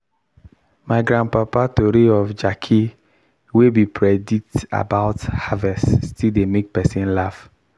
my grandpapa tori of jackey wey be predict about harvest still dey make person laff.